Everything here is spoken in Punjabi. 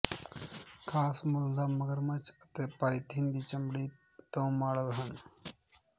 ਖਾਸ ਮੁੱਲ ਦਾ ਮਗਰਮੱਛ ਅਤੇ ਪਾਇਥਨ ਦੀ ਚਮੜੀ ਤੋਂ ਮਾਡਲ ਹਨ